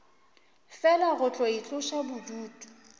fela go tlo itloša bodutu